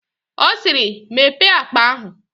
Ọ siiri, Mepee akpa ahụ!